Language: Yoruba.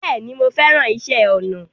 Bẹ́ẹ̀ni, mo fẹ́ràn iṣẹ́ ọnà